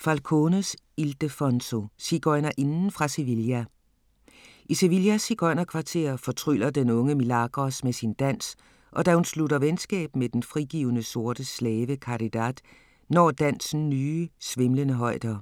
Falcones, Ildefonso: Sigøjnerinden fra Sevilla I Sevillas sigøjnerkvarter fortryller den unge Milagros med sin dans, og da hun slutter venskab med den frigivne sorte slave Caridad, når dansen nye, svimlende højder.